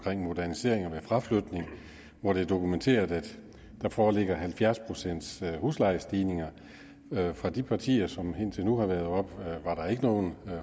om moderniseringer ved fraflytning hvor det er dokumenteret at der foreligger halvfjerds pcts huslejestigninger fra de partier som indtil nu har været oppe var der ikke nogen